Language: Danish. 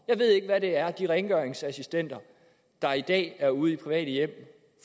jeg ved ikke hvad det er de rengøringsassistenter der i dag er ude i de private hjem